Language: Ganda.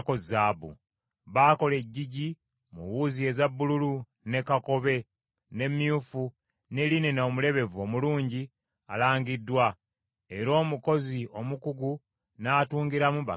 Baakola eggigi mu wuzi eza bbululu, ne kakobe, ne myufu ne linena omulebevu omulungi alangiddwa; era omukozi omukugu n’atungiramu bakerubi.